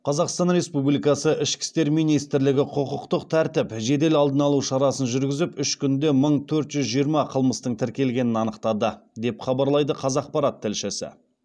қазақстан республикасы ішкі істер министрлігі құқықтық тәртіп жедел алдын алу шарасын жүргізіп үш күнде мың төрт жүз жиырма қылмыстың тіркелгенін анықтады деп хабарлайды қазақпарат тілшісі